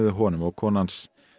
honum og konu hans